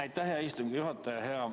Aitäh, hea istungi juhataja!